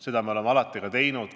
Seda me oleme alati ka teinud.